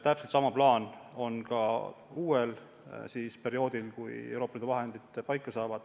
Täpselt sama plaan on ka uuel perioodil, kui Euroopa Liidu vahendid paika saavad.